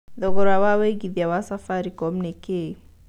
thogora wa wĩigĩthĩa wa safaricom nĩ kĩĩ